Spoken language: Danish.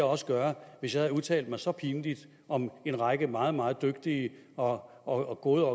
også gøre hvis jeg havde udtalt mig så pinligt om en række meget meget dygtige og og gode